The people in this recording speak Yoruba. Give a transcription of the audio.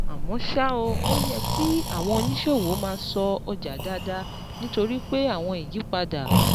Àmọ́ ṣá o, ó yẹ kí àwọn oníṣòwò máa ṣọ́ ọjà dáadáa nítorí pé àwọn ìyípadà